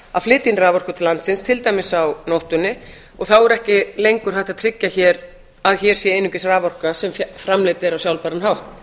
að flytja inn raforku til landsins til dæmis á nóttunni og þá er ekki lengur hægt að tryggja að hér sé einungis raforka sem framleidd er á sjálfbæran hátt